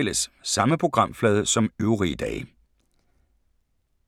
DR P4 Fælles